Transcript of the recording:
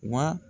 Wa